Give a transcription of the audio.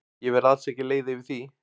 Ég verð alls ekki leið yfir því.